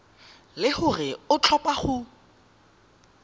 le gore o tlhopha go